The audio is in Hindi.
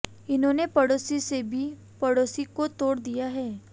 इन्होंने पड़ोसी से भी पड़ोसी को तोड़ दिया है